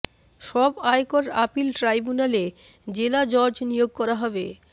সব আয়কর আপিল ট্রাইব্যুনালে জেলা জজ নিয়োগ করা হবে